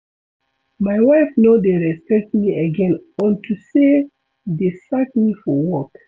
My wife no dey respect me again unto say dey sack me for work